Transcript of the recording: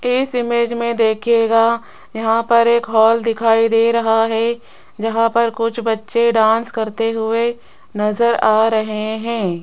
इस इमेज मे देखियेगा यहां पर एक हाल दिखाई दे रहा है जहां पर कुछ बच्चे डांस करते हुए नजर आ रहे हैं।